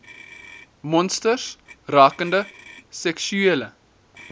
monsters rakende seksuele